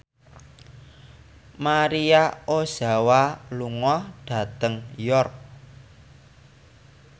Maria Ozawa lunga dhateng York